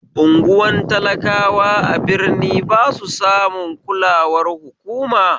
Unguwan talakawa a birni basu samun kulawar hukuma